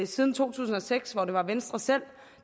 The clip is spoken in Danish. siden to tusind og seks hvor det var venstre selv